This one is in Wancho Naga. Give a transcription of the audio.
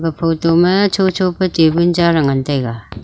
photo ma cho cho ke tabul cha ley ngan taiga.